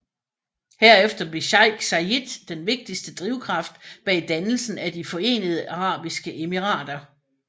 Herefter blev Sheik Zayed den vigtigste drivkraft bag dannelsen af De Forenede Arabiske Emirater